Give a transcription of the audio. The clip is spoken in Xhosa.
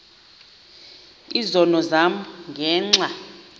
izono zam ngenxa